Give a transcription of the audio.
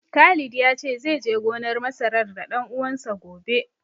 Khalid ya ce zai je gonar masarar da ɗan uwansa, gobe.